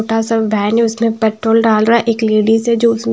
छोटा सा बैन है उसमें पेट्रोल डाल रहा है एक लेडीज है जो--